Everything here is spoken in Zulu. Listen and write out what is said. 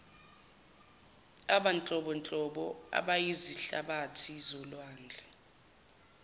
abanhlobonhlobo abayizihlabathi zolwandle